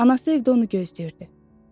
Anası evdə onu gözləyirdi.